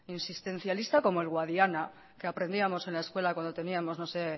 insistencialista como el guadiana que aprendíamos en la escuela cuando teníamos no sé